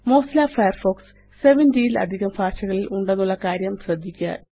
Mozilla Firefox 70 ല് അധികം ഭാഷകളില് ഉണ്ടെന്നുള്ള കാര്യം ശ്രദ്ധിക്കുക